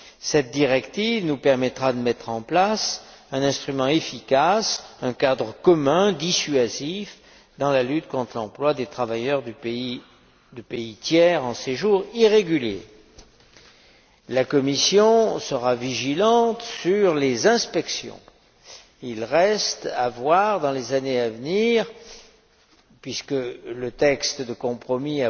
Cette directive nous permettra de mettre en place un instrument efficace, un cadre commun, dissuasif, dans la lutte contre l'emploi de travailleurs de pays tiers en séjour irrégulier. La Commission sera vigilante sur les inspections. Il restera à voir, dans les années à venir, puisque le texte de compromis